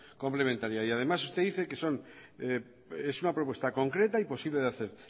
complementaria y además usted dice que son que es una propuesta concreta y posible de hacer